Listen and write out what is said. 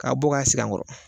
K'a bɔ k'a sigi an kɔrɔ